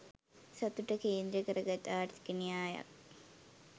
සතුට කේන්ද්‍රකරගත් ආර්ථික න්‍යායක්.